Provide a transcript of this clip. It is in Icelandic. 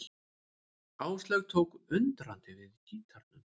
Áslaug tók undrandi við gítarnum.